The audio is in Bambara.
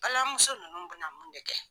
Balima muso nunnu bɛna mun de kɛ.